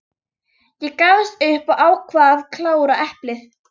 Ég gafst upp og ákvað að klára eplið.